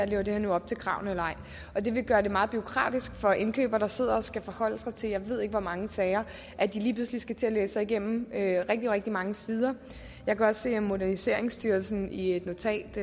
lever op til kravene og det vil gøre det meget bureaukratisk for indkøbere der sidder og skal forholde sig til jeg ved ikke hvor mange sager at de lige pludselig skal til at læse sig igennem rigtig rigtig mange sider jeg kan også se at moderniseringsstyrelsen i et notat